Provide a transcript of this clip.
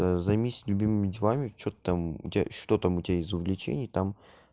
займись любимыми делами что там у тебя что там у тебя из извлечений там